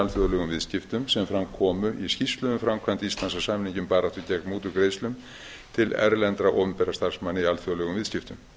alþjóðlegum viðskiptum sem fram komu í skýrslu um framkvæmd íslands að samningi um baráttu gegn mútugreiðslum til erlendra opinberra starfsmanna í alþjóðlegum viðskiptum